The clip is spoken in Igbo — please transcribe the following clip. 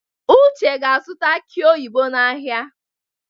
Uche ga-azụta aki oyibo n’ahịa.